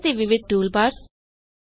ਨਵੀਂ ਪਰੈੱਜ਼ਨਟੇਸ਼ਨ ਕਿੱਦਾਂ ਬਣਾਈ ਜਾਵੇ